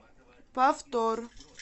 повтор